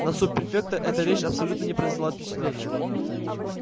на суб-префекта эта речь абсолютно не произвела впечатления